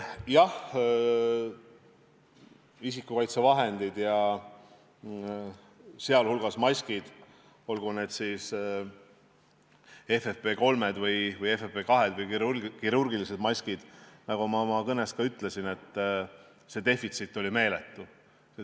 Jah, isikukaitsevahendite ja sealhulgas maskide, olgu need siis FFP3, FFP2 või kirurgilised maskid, nagu ma oma kõnes ka ütlesin, defitsiit oli meeletu.